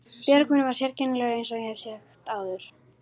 Björgvin var sérkennilegur eins og ég hef áður sagt.